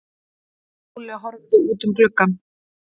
Lúlli horfði út um gluggann.